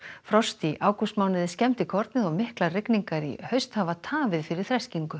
frost í ágústmánuði skemmdi kornið og miklar rigningar í haust hafa tafið fyrir þreskingu